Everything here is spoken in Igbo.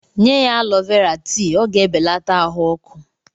Nye ya alọ Vera tii, ọ ga-ebelata ahụ ọkụ.